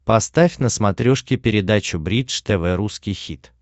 поставь на смотрешке передачу бридж тв русский хит